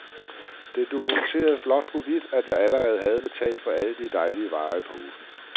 Den dokumenterede blåt på hvidt, at jeg allerede havde betalt for alle de dejlige varer i posen.